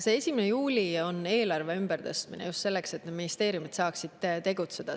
See 1. juuli on eelarve ümbertõstmine, just selleks, et ministeeriumid saaksid tegutseda.